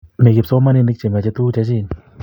mii kipsoomaninik chmechei tukuk chechin